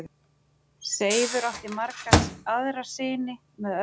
Seifur átti marga aðra syni með öðrum konum.